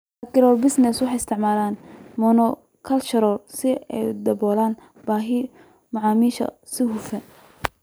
Agribusinesses waxay isticmaalaan monocultures si ay u daboolaan baahida macaamiisha si hufan.